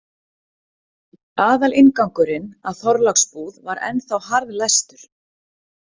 Aðalinngangurinn að Þorláksbúð var ennþá harðlæstur.